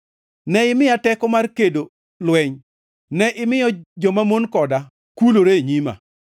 Ne imiya teko mar kedo lweny; ne imiyo jomamon koda kulore e nyima.